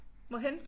Hvorhenne?